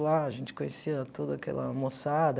Lá a gente conhecia toda aquela moçada.